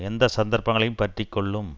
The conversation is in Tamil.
எந்த சந்தர்ப்பங்களையும் பற்றி கொள்ளும்